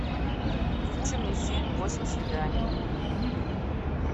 включи мне фильм восемь свиданий